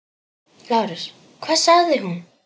LÁRUS: Hvað sagði hún?